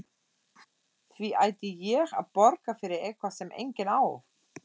Því ætti ég að borga fyrir eitthvað sem enginn á?